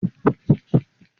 Ṣé o ma ra Ẹ̀gbà ìbàdí?